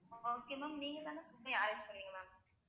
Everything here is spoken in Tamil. okay ma'am நீங்க தான food arrange பண்ணுவிங்க ma'am